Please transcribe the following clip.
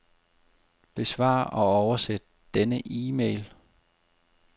Besvar og oversæt denne e-mail.